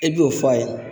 E b'o fɔ a ye